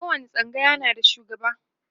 kowani tsangaya na da shugaba